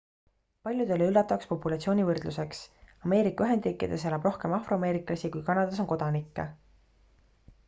paljudele üllatavaks populatsiooni võrdluseks ameerika ühendriikides elab rohkem afroameeriklasi kui kanadas on kodanikke